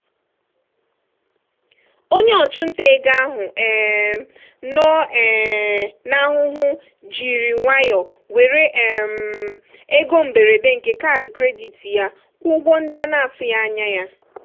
onye ọchụnta ego ahụ um nọ um n'ahụhụ jiri nwayọọ were um ego mberede nke kaadị kredit ya kwụọ ụgwọ ndị a na-atụghị anya ya.